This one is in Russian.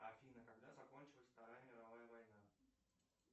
афина когда закончилась вторая мировая война